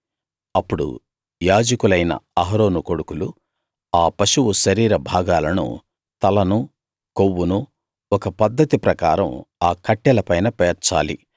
అప్పుడు యాజకులైన అహరోను కొడుకులు ఆ పశువు శరీర భాగాలనూ తలనూ కొవ్వునూ ఒక పద్ధతి ప్రకారం ఆ కట్టెలపైన పేర్చాలి